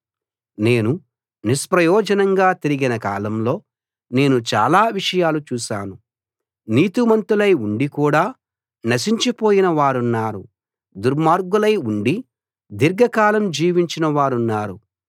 నేను నిష్ప్రయోజనంగా తిరిగిన కాలంలో నేను చాలా విషయాలు చూశాను నీతిమంతులై ఉండి కూడా నశించిపోయిన వారున్నారు దుర్మార్గులై ఉండీ దీర్ఘ కాలం జీవించిన వారున్నారు